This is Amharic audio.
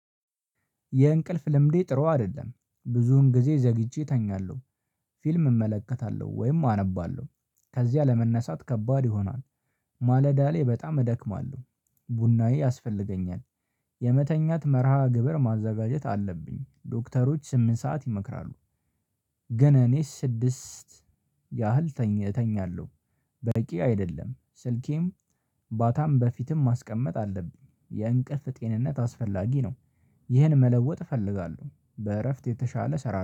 የእንቅልፍ ልምዴ ጥሩ አይደለም ብዙን ጊዜ ዘግይቼ እተኛለሁ። ፊልም እመለከታለሁ ወይም አነባለሁ ከዚያ ለመነሳት ከባድ ይሆናል። ማለዳ ላይ በጣም እደክማለሁ። ቡናዬ ያስፈልገኛል። የመተኛት መርሃ ግብር ማዘጋጀት አለብኝ ዶክተሮች ስምንት ሰዓት ይመክራሉ። ግን እኔ ስድስት ያህል ተኝ እተኛለሁ። በቂ አይደለም ስልኬም ባታም በፊትም ማስቀመጥ አለብኝ። የእንቅልፍ ጤንነት አስፈላጊ ነው። ይህን መለወጥ እፈልጋለሁ በእረፍት የተሻለ እሰራለው